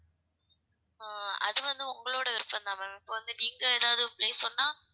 அஹ் அது வந்து உங்களோட விருப்பம் தான் ma'am இப்பொ வந்து நீங்க எதாவது place சொன்னா